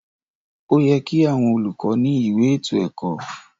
Óyẹ ki àwọn olùkọ ni ìwé ètò ẹkọ.